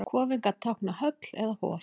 kofinn gat táknað höll eða hof